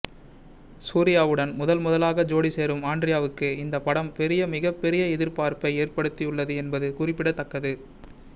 சூரியாவுடன் முதன்முதலாக ஜோடி சேரும் ஆண்ட்ரியாவுக்கு இந்த படம் பெரிய மிகப் பெரிய எதிர்பார்ப்பை ஏற்படுத்தியுள்ளது என்பது குறிப்பிடத்தக்கது